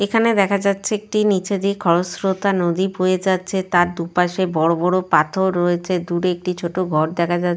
এখানে দেখা যাচ্ছে একটি নিচে দিয়ে খরস্রোতা নদী বয়ে যাচ্ছে। তার দুপাশে বড় বড় পাথর রয়েছে দূরে একটি ছোট ঘর দেখা যা --